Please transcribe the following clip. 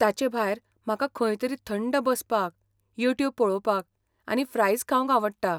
ताचे भायर म्हाका खंयतरी थंड बसपाक, यूट्यूब पळोवपाक आनी फ्रायज खावंक आवडटा.